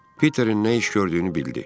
Peterin nə iş gördüyünü bildi.